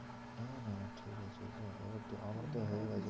না না না ঠিক আছে আমারও তো